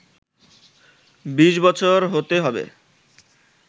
২০ বছর হতে হবে